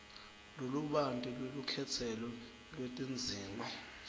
lolubanti lwelukhetselo lwetidzingo